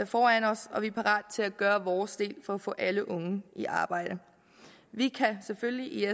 foran os og vi er parate til at gøre vores del for at få alle unge i arbejde vi kan selvfølgelig i